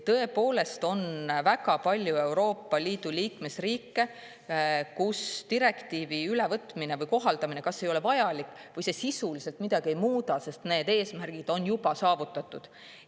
Tõepoolest on väga palju Euroopa Liidu liikmesriike, kus direktiivi ülevõtmine või kohaldamine kas ei ole vajalik või see sisuliselt midagi ei muuda, sest need eesmärgid on juba saavutatud.